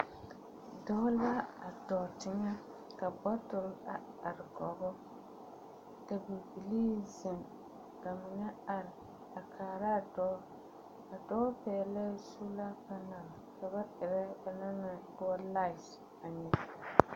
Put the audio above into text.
Dɔɔ la a dɔɔ teŋɛ ka bɔtole a are koge o, ka bibilii zeŋ, ka mine ar,a kaaraa dɔɔ. A dɔɔ pɛɛlɛɛ suulaa kaŋaŋ, ka ba erɛ...